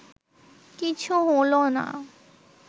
কিছু হলো না